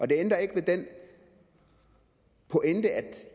det ændrer ikke ved den pointe at